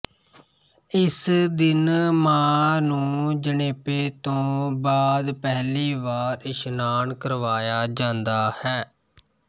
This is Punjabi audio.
ਇਸ ਦਿਨ ਮਾਂ ਨੂੰ ਜਣੇਪੇ ਤੋਂ ਬਾਅਦ ਪਹਿਲੀ ਵਾਰ ਇਸ਼ਨਾਨ ਕਰਵਾਇਆ ਜਾਂਦਾ ਹੈ